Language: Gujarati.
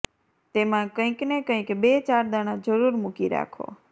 તેમા કંઈક ને કંઈક બે ચાર દાણા જરૂર મુકી રાખો